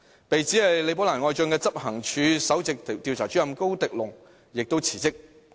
被指是李寶蘭愛將的執行處首席調查主任高迪龍亦辭職。